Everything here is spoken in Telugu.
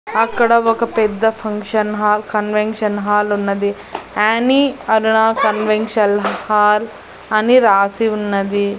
అక్కడ ఒక పెద్ద ఫంక్షన్ హాల్ కన్వెన్షన్ హాల్ ఉన్నది యాని అరుణా కన్వెన్షల్ హాల్ అని రాసి ఉన్నది.